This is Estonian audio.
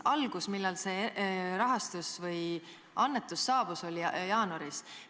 Algus, millal see annetus saabus, oli jaanuaris.